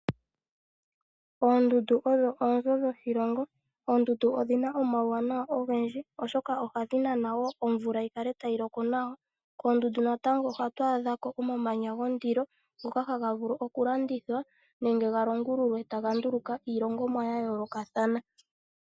Oondundu odho oonzo dhoshilongo, oondundu odhina omauwanawa ogendji, oshoka ohadhi nana woo omvula yi kale tayi loko nawa. Koondundu natango ohatu adha ko omamanya gondilo, ngoka haga vulu oku landithwa nenge ga longululwe taga longithwa iilongomwa ya yoolokathana.